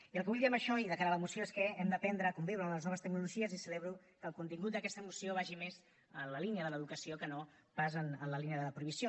i el que vull dir amb això i de cara a la moció és que hem d’aprendre a conviure amb les noves tecnologies i celebro que el contingut d’aquesta moció vagi més en la línia de l’educació que no pas en la línia de la prohibició